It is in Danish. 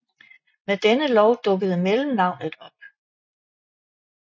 Med denne lov dukkede mellemnavnet op